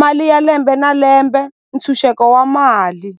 mali ya lembe na lembe ntshunxeko wa mali.